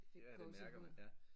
Fik gåsehud